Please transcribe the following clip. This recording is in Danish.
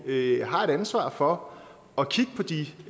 har et ansvar for at kigge på de